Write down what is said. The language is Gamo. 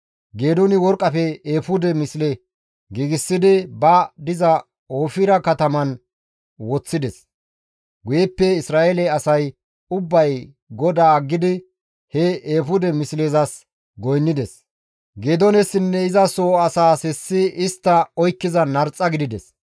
Geedooni worqqafe eefude misle giigsidi ba diza Oofira kataman woththides; guyeppe Isra7eele asay ubbay GODAA aggidi he eefude mislezas goynnides; Geedoonessinne iza soo asaas hessi istta oykkiza narxa gidides.